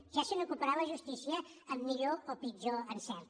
ja se n’ocuparà la justícia amb millor o pitjor encert